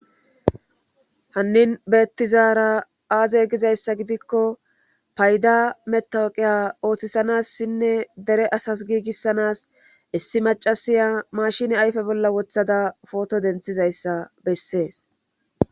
hanin betizara aaze gizayssa gidikko paydaa matawoqiya ootisanassinne dere asas giigissanas issi maccasiya maashine ayfe bolla woththada pooto denttizayssa besses.